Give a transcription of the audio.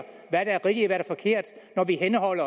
når vi kan